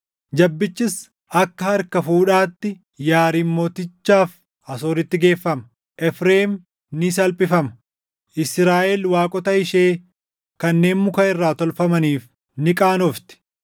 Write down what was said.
Jabbichis akka harka fuudhaatti Yaariim mootichaaf Asooritti geeffama. Efreem ni salphifama; Israaʼel waaqota ishee kanneen muka irraa tolfamaniif ni qaanofti.